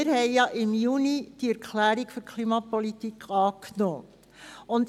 Denn im Juni haben wir ja die Erklärung für die Klimapolitik angenommen.